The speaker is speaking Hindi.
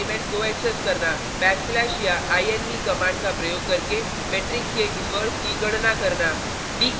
backslash या inv कमांड का प्रयोग करके मेट्रिक्स के इनवर्स की गणना करना